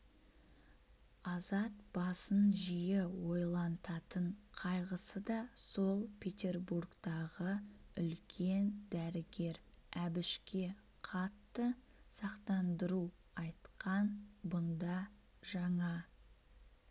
азат басын жиі ойлантатын қайғысы да сол петербургтағы үлкен дәрігер әбішке қатты сақтандыру айтқан бұнда жаңа